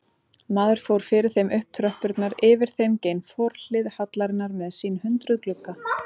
Maður fór fyrir þeim upp tröppurnar, yfir þeim gein forhlið hallarinnar með sín hundruð glugga.